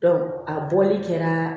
a bɔli kɛra